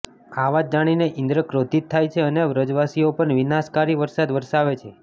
આ વાત જાણીને ઈન્દ્ર ક્રોધીત થાય છે અને વ્રજવાસીઓ પર વિનાશકારી વરસાદ વરસાવે છે